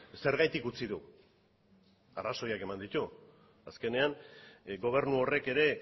zergatik utzi du arrazoiak eman ditu azkenean gobernu horrek ere